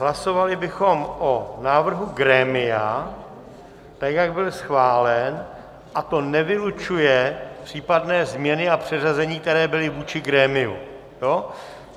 Hlasovali bychom o návrhu grémia, tak jak byl schválen, a to nevylučuje případné změny a přeřazení, které byly vůči grémiu.